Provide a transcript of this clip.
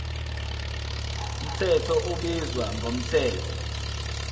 mthetho ubizwa ngomthetho